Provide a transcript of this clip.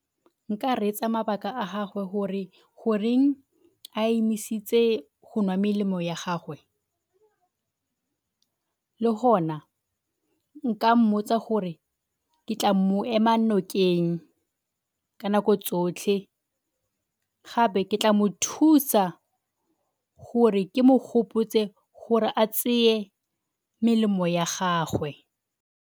Nka reetsa mabaka a gagwe gore goreng a emisitse go nwa melemo ya gagwe le gona nka mmotsa gore ke tla mo ema nokeng ka nako tsotlhe, gape ke tla mothusa gore ke mo gopotse gore a melemo ya gagwe.